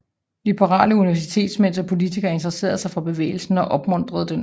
Liberale universitetsmænd og politikere intresserede sig for bevægelsen og opmuntrede den